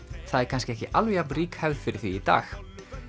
það er kannski ekki alveg jafn rík hefð fyrir því í dag